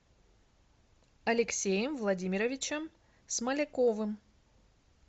алексеем владимировичем смоляковым